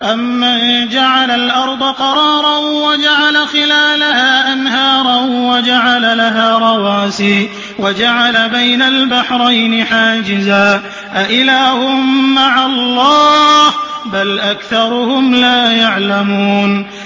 أَمَّن جَعَلَ الْأَرْضَ قَرَارًا وَجَعَلَ خِلَالَهَا أَنْهَارًا وَجَعَلَ لَهَا رَوَاسِيَ وَجَعَلَ بَيْنَ الْبَحْرَيْنِ حَاجِزًا ۗ أَإِلَٰهٌ مَّعَ اللَّهِ ۚ بَلْ أَكْثَرُهُمْ لَا يَعْلَمُونَ